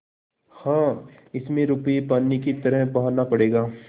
हाँ इसमें रुपये पानी की तरह बहाना पड़ेगा